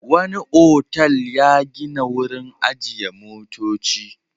Wani otal ya gina wurin ajiye motoci.